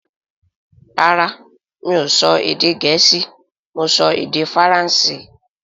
Rárá mi ò sọ èdè Gẹ̀ẹ́sì; Mo sọ Èdè Faransé